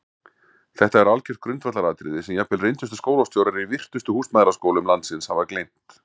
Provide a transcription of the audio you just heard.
Þetta er algjört grundvallaratriði sem jafnvel reyndustu skólastjórar í virtustu húsmæðraskólum landsins hafa gleymt!